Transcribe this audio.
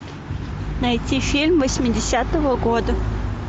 найти фильм восьмидесятого года